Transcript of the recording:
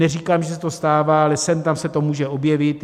Neříkám, že se to stává, ale sem tam se to může objevit.